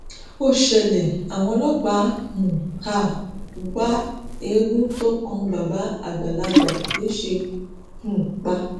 ó ṣẹlẹ àwọn ọlọpàá ń um wá eegun tó kan bàbá àgbàlagbà lẹsẹẹ um pa